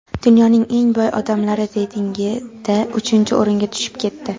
dunyoning eng boy odamlari reytingida uchinchi o‘ringa tushib ketdi.